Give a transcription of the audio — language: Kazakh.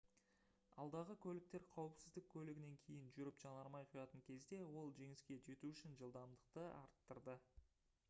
алдағы көліктер қауіпсіздік көлігінен кейін жүріп жанармай құятын кезде ол жеңіске жету үшін жылдамдықты арттырды